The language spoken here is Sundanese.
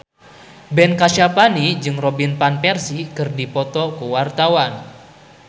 Ben Kasyafani jeung Robin Van Persie keur dipoto ku wartawan